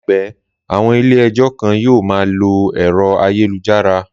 Làìpé, àwọn ilé ẹjọ́ kan yóò ma lo ẹ̀rọ ayélujára